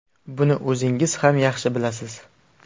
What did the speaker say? Buni o‘zingiz ham yaxshi bilasiz.